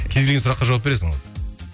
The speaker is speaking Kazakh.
кез келген сұраққа жауап бересің ғой